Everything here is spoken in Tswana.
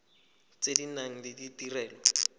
tse di nang le ditirelo